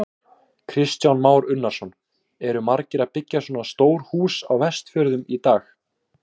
Kristján Már Unnarsson: Eru margir að byggja svona stór hús á Vestfjörðum í dag?